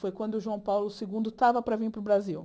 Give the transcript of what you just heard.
Foi quando o João Paulo segundo estava para vir para o Brasil.